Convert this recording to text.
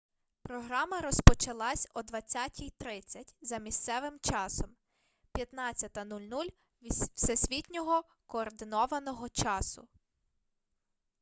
програма розпочалась о 20:30. за місцевим часом 15.00 всесвітнього координованого часу